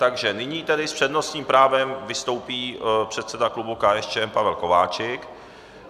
Takže nyní tedy s přednostním právem vystoupí předseda klubu KSČM Pavel Kováčik.